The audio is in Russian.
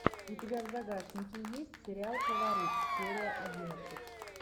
у тебя в загашнике есть сериал фаворит серия одиннадцать